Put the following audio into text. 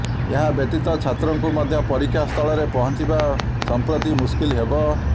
ଏହା ବ୍ୟତୀତ ଛାତ୍ରଙ୍କୁ ମଧ୍ୟ ପରୀକ୍ଷା ସ୍ଥଳରେ ପହଞ୍ଚିବା ସଂପ୍ରତି ମୁସ୍କିଲ ହେବ